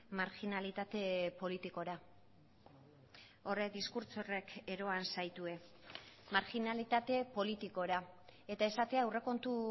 marginalitate politikora horrek diskurtso horrek eroan zaitue marginalitate politikora eta esatea aurrekontu